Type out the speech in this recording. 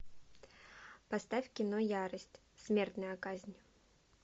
поставь кино ярость смертная казнь